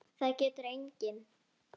Það getur enginn.